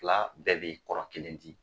Fila bɛɛ bɛ kɔrɔ kelen di